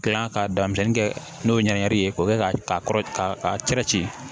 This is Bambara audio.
Gilan ka damisɛnni kɛ n'o ye ɲɛnɛbini ye k'o kɛ ka kɔrɔ ka a cɛ ci